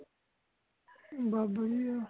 ਬਸ ਵਧੀਆ ਹੇ